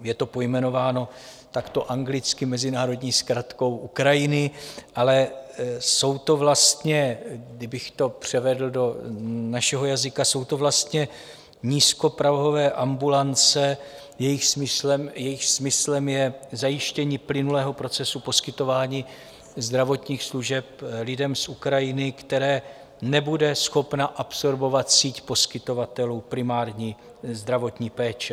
Je to pojmenováno takto anglicky, mezinárodní zkratkou Ukrajiny, ale jsou to vlastně, kdybych to převedl do našeho jazyka, jsou to vlastně nízkoprahové ambulance, jejichž smyslem je zajištění plynulého procesu poskytování zdravotních služeb lidem z Ukrajiny, které nebude schopna absorbovat síť poskytovatelů primární zdravotní péče.